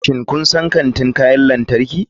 Shin kun san kantin kayan lantarki?